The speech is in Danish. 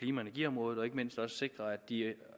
energiområdet og ikke mindst også sikre at de